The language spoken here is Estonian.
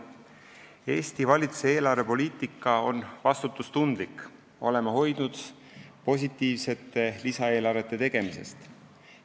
Eesti valitsuse eelarvepoliitika on vastutustundlik, oleme hoidunud positiivsete lisaeelarvete tegemisest.